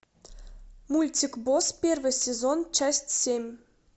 мультик босс первый сезон часть семь